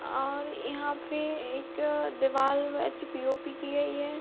और यहाँ पे एक दिवाल में पी.ओ. पी. की गई है ।